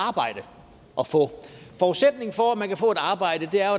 arbejde at få forudsætningen for at man kan få et arbejde er